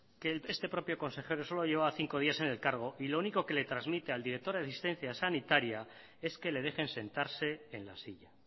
que este propio consejero solo llevaba cinco días en el cargo y lo único que le transmite al director de asistencia sanitaria es que le dejen sentarse en la silla